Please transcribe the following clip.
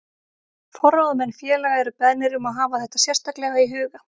Forráðamenn félaga eru beðnir um að hafa þetta sérstaklega í huga.